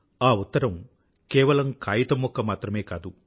ఆ ఉత్తరం కేవలం కాయితం ముక్క మాత్రమే కాదు